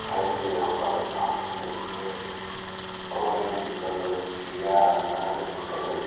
हेन्क यांपर धोलना लगीं ऑरेंज कलर किया नारंगी कलर --